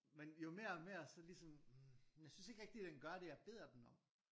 Men jo mere og mere så ligesom hm jeg synes ikke rigtig den gør det jeg beder den om